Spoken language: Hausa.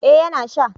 eh ya na sha